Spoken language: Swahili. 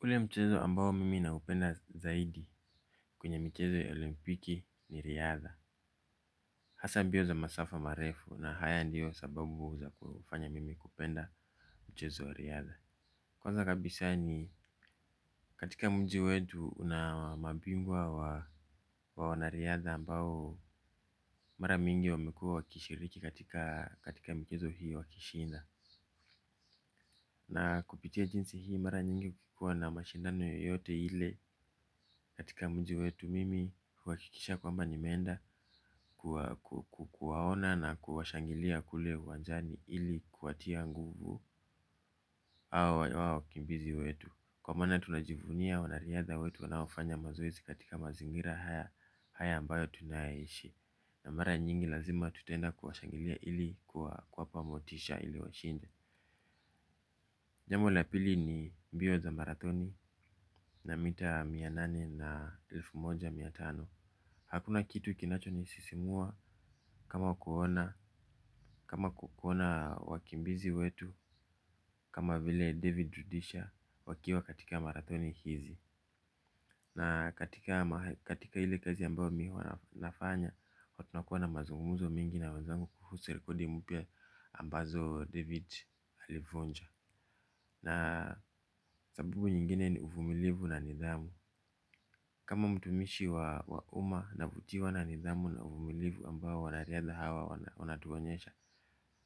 Ule mchezo ambao mimi naupenda zaidi kwenye michezo olimpiki ni riadha. Hasa mbio za masafa marefu na haya ndio sababu za kufanya mimi kupenda mchezo wa riadha. Kwanza kabisa ni katika mji wetu una mabingwa wa wanariadha ambao mara mingi wamekua wakishiriki katika mchezo hii wakishinda na kupitia jinsi hii mara nyingi kukikuwa na mashindano yote ile katika mji wetu mimi huhakikisha kwamba nimeenda kuwaona na kuwashangilia kule uwanjani ili kuwatia nguvu hao wakimbizi wetu. Kwa maana tunajivunia wanariadha wetu wanaofanya mazoezi katika mazingira haya ambayo tunaishi. Na mara nyingi lazima tutaenda kuwashangilia hili kuwapa motisha ili washinde. Jambo la pili ni mbio za marathoni na mita mia nane na elfu moja mia tano. Hakuna kitu kinachonisisimua kama kuona wakimbizi wetu. Kama vile David Rudisha wakiwa katika marathoni hizi na katika ile kazi ambao mi huwa nafanya huwa tunakuwa na mazunguzo mingi na wenzangu kuhusu rekodi mpya ambazo David alivunja. Na sababu nyingine ni uvumilivu na nidhamu. Kama mtumishi wa umma navutiwa na nidhamu na uvumilivu ambao wanariadha hawa wanatuonyesha.